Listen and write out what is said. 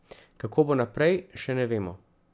Kako bo naprej, še ne vemo.